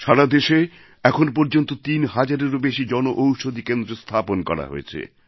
সারা দেশে এখন পর্যন্ত তিন হাজারেরও বেশি জনঔষধী কেন্দ্র স্থাপন করা হয়েছে